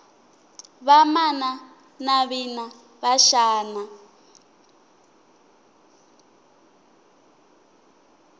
vamana navina va xana